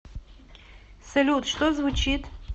салют что звучит